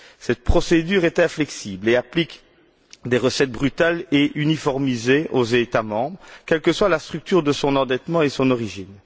Cette procédure est inflexible et applique des recettes brutales et uniformisées aux États membres, quelle que soit la structure de leur endettement et son origine.